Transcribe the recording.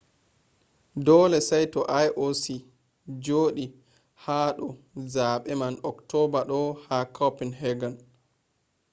dole saito ioc jodi ha do zabe man october do ha copenhagen